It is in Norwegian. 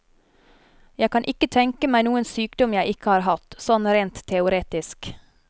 Jeg kan ikke tenke meg noen sykdom jeg ikke har hatt, sånn rent teoretisk.